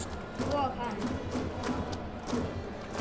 Og hann.